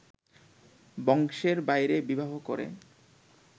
বংশের বাইরে বিবাহ করে